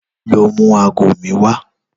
Lò mú àgó mi wà